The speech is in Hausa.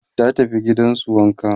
ta tafi gidansu wanka